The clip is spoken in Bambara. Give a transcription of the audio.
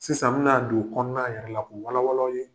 Sisan n mi na don kɔnɔna yɛrɛ la , k'o walawala aw ye.